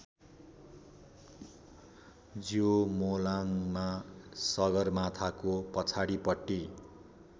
ज्योमोलाङमा सगरमाथाको पछाडिपट्टि